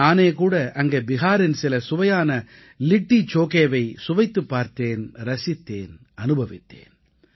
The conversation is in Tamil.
நானேகூட அங்கே பிஹாரின் சில சுவையான லிட்டீ சோகேவைச் சுவைத்துப் பார்த்து ரசித்தேன் அனுபவித்தேன்